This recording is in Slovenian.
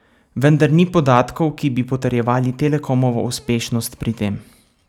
Vendar ni podatkov, ki bi potrjevali Telekomovo uspešnost pri tem.